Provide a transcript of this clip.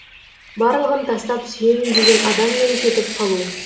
барлығын тастап сүйемін деген адаммен кетіп қалу